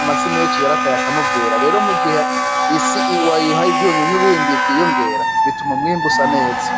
amasi menshi yarataye akanovera, rero mu gihe isi wayihaye ivyunyunyu bindi vyiyongera bituma umwimbu usa neza.